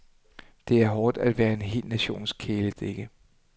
Det er hårdt at være en hel nations kæledægge.